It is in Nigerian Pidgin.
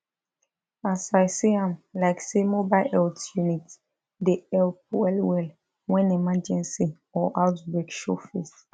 as i see am like say mobile health unit dey help well well when emergency or outbreak show face